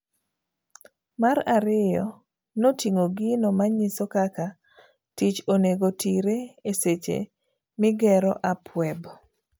Mar ariyo noting'o gino manyiso kaka tich onego tire eseche migero app web.